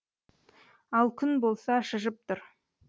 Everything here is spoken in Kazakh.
ал күн болса шыжып тұр